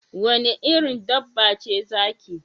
Wanne irin dabba ce zaki?